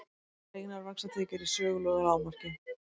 Hreinar vaxtatekjur í sögulegu lágmarki